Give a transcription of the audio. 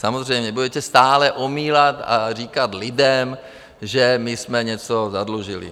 Samozřejmě budete stále omílat a říkat lidem, že my jsme něco zadlužili.